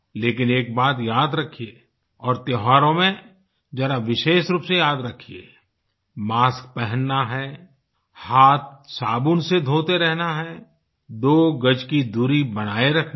लेकिन एक बात याद रखिये और त्योहारों में ज़रा विशेष रूप से याद रखिये मास्क पहनना है हाथ साबुन से धोते रहना है दो गज की दूरी बनाये रखनी है